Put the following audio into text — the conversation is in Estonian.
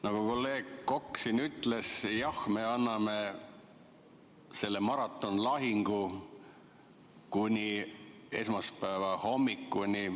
Nagu kolleeg Kokk siin ütles, jah, me anname selle maratonlahingu kuni esmaspäeva hommikuni.